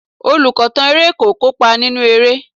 Olùkọ̀tàn eré kò kópa nínú eré.